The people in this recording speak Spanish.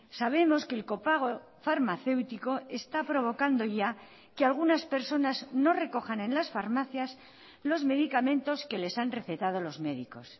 sabemos que el copago farmacéutico está provocando ya que algunas personas no recojan en las farmacias los medicamentos que les han recetado los médicos